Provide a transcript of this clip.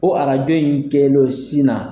Ko arajo in kɛlen sin na.